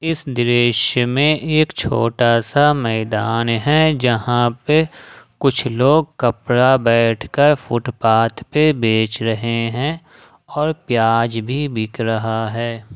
इस दृश्य में एक छोटा सा मैदान है जहाँ पे कुछ लोग कपड़ा बैठ कर फुटपाथ पे बेच रहे हैं और प्याज भी बिक रहा है।